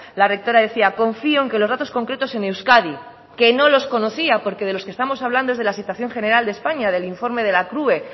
la rectora decía confío en que los datos concretos en euskadi que no los conocía porque de los que estamos hablando es de la situación general de españa del informe de la crue